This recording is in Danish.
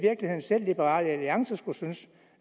selv liberal alliance burde synes